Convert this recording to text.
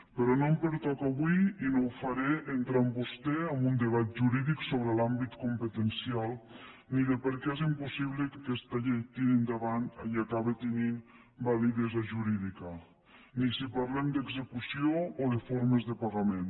però no em pertoca avui i no ho faré entrar amb vostè en un debat jurídic sobre l’àmbit competencial ni per què és impossible que aquesta llei tiri endavant i acabi tenint validesa jurídica ni si parlem d’execució o de formes de pagament